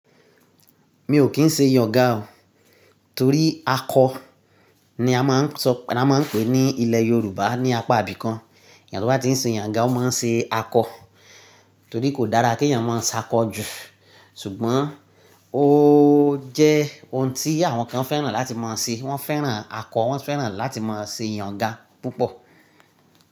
Mi ò kín ṣe ìyàngá o, torí akọ ni a máa ń sọ̀ pé a máa ń pè ní ilẹ̀ Yorùbá ní apá ibìkan. Ènìyàn tó bá ti ń ṣe ìyàngá ó máa ń ṣe akọ torí kò dára kí ènìyàn máa ṣàkọjù. Ṣùgbọ́n ó jẹ́ ohun tí àwọn kan fẹ́ràn láti máa ṣe. Wọ́n fẹ́ràn akọ, wọ́n fẹ́ràn láti máa ṣe ìyàngá púpọ̀